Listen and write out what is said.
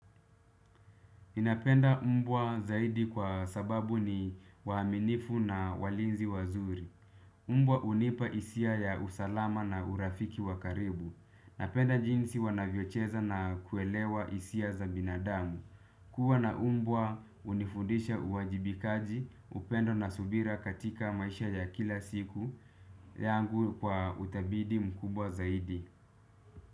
Napenda umbwa zaidi kwa sababu ni waaminifu na walinzi wazuri. Umbwa unipa isia ya usalama na urafiki wakaribu. Napenda jinsi wanavyocheza na kuelewa isia za binadamu. Kuwa na umbwa unifundisha uwajibikaji upendo na subira katika maisha ya kila siku. Yangu kwa uthabidi mkubwa zaidi.